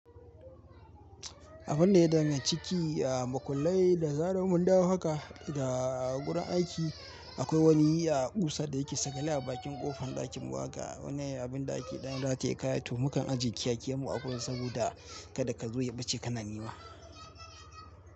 Abun da ya danganci a makullai da za mu dawo haka da a gurin aiki akwai wani yiya a ƙusa da yake sakale a bakin ƙofan ɗakin waƙa. Wannan abin da ake ɗan rataye kaya, tumakan ajjiye kiyayyen mu a kusa saboda kada ka zo ya ɓace kana nema.